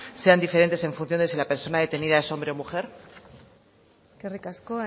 sean diferentes en función de si la persona detenida es hombre o mujer eskerrik asko